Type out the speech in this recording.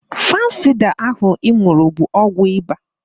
Fansida ahụ ị ṅụrụ bụ ọgwụ ịba